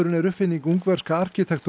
er uppfinning ungverska